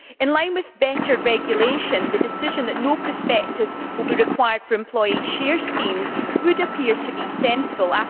In line with better regulation, the decision that no prospectus will be required for employee share schemes would appear to be sensible.